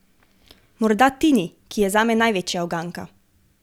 Morda Tini, ki je zame največja uganka.